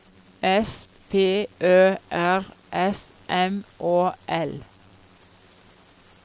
S P Ø R S M Å L